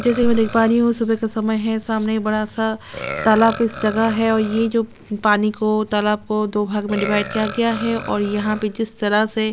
जैसा की मैं देख पा रही हूँ सुबह का समय है सामने एक बड़ा सा तालाब जैसा जगह है और ये जो पानी को तालाब को दो भाग में डिवाइड किया गया है और यहाँ पे जिस तरह से--